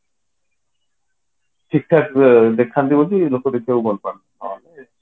ଠିକ ଠାକ ଦେଖନ୍ତି ବୋଲି ଲୋକ ଦେଖିବାକୁ ଭଲ ପାଆନ୍ତି ହଁ